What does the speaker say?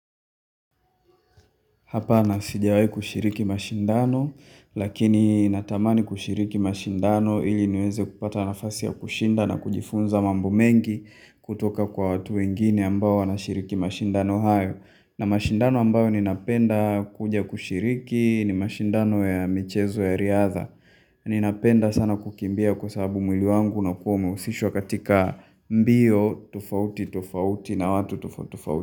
Hapa nasijawai kushiriki mashindano lakini natamani kushiriki mashindano ili niweze kupata nafasi ya kushinda na kujifunza mambo mengi kutoka kwa watu wengine ambao wanashiriki mashindano haya. Na mashindano ambayo ninapenda kuja kushiriki ni mashindano ya michezo ya riadha. Ninapenda sana kukimbia kwa sababu mwili wangu na kuwa umehusishwa katika mbio tofauti tofauti na watu tofauti tofauti.